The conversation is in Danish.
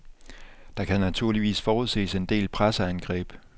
Der kan naturligvis forudses en del presseangreb.